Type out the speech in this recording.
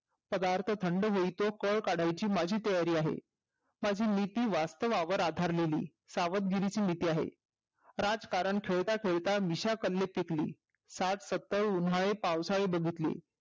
पदार्थ थंड होई पर्यंत माझी काळ काढायची माझी तयारी आहे माझी नीती वास्तवावर आधारलेली सावधगिरीची नीती आहे राजकारण खेळता खेळात मिशा सन्मुख थकली सात सत्तर उन्हाळे पावसाळे बघितले